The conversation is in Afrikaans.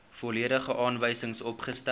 volledige aanwysings opgestel